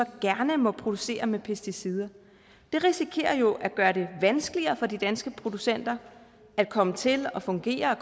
gerne må producere med pesticider det risikerer jo at gøre det vanskeligere for de danske producenter at komme til at fungere